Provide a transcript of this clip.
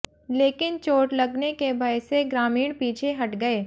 लेकिन चोट लगने के भय से ग्रामीण पीछे हट गये